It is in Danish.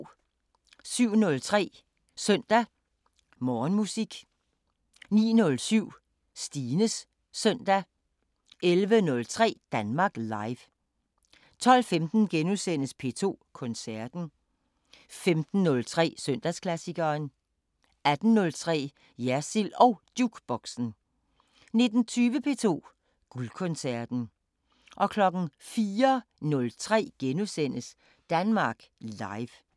07:03: Søndag Morgenmusik 09:07: Stines Søndag 11:03: Danmark Live 12:15: P2 Koncerten * 15:03: Søndagsklassikeren 18:03: Jersild & Jukeboxen 19:20: P2 Guldkoncerten 04:03: Danmark Live *